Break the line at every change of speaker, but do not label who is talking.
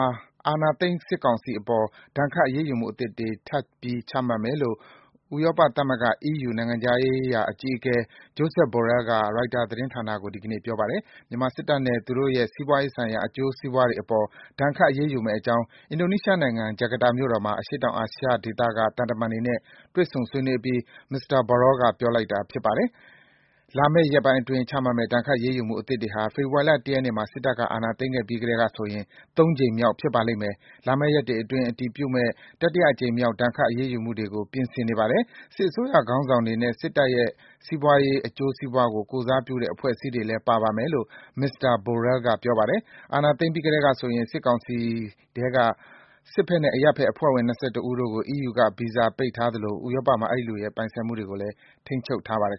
ာအာဏာသိမ်း စစ်ကောင်စီအပေါ် ဒဏ်ခတ်အရေးယူမှုအသစ်တွေ ထပ်ပြီး ချမှတ်မယ်လို့ ဥရောပသမဂ္ဂ (EU) နိုင်ငံခြားရေးရာအကြီးအကဲ Josep Borrell က ရိုက်တာသတင်းဌာနကို ဒီကနေ့ပြောပါတယ်။ မြန်မာစစ်တပ်နဲ့ သူတို့ရဲ့ စီးပွားရေးဆိုင်ရာ အကျိုးစီးပွားတွေအပေါ် ဒဏ်ခတ်အရေးယူမယ့်အကြောင်း အင်ဒိုနီးရှားနိုင်ငံ၊ ဂျကာတာမြို့တော်မှာ အရှေ့တောင်အာရှဒေသက သံတမန်တွေနဲ့ တွေ့ဆုံ ဆွေးနွေးအပြီး မစ္စတာ Borrell ကပြောတာပါ။ လာမယ့်ရက်ပိုင်းအတွင်း ချမှတ်မယ့် ဒဏ်ခတ်အရေးယူမှုအသစ်တွေဟာ ဖေဖော်ဝါရီလ ၁ ရက်နေ့မှာ စစ်တပ်က အာဏာသိမ်းခဲ့ပြီးကတည်းကဆိုရင် ၃ ကြိမ်မြောက်ဖြစ်ပါလိမ့်မယ်။ "လာမယ့်ရက်တွေအတွင်း အတည်ဖြစ်မယ့် တတိယအကြိမ်မြောက် ဒဏ်ခတ်အရေးယူမှုတွေကို ပြင်ဆင်နေပါတယ်။ စစ်အစိုးရခေါင်းဆောင်တွေနဲ့ စစ်တပ်ရဲ့ စီးပွားရေးအကျိုးစီးပွားကို ကိုယ်စားပြုတဲ့ အဖွဲ့အစည်းတွေလည်း ပါပါမယ်။" လို့ မစ္စတာ Borrell ကပြောပါတယ်။ အာဏာသိမ်းပြီးကတည်းကဆိုရင် စစ်ကောင်စီထဲက စစ်ဘက်နဲ့ အရပ်ဘက်အဖွဲ့ဝင် ၂၁ ယောက်ကို EU က ဗီဇာပိတ်ထားသလို ဥရောပမှာ အဲဒီလူတွေရဲ့ ပိုင်ဆိုင်မှုတွေ ရှိတယ်ဆိုရင်လည်း ထိန်းချုပ်ထားပါတယ်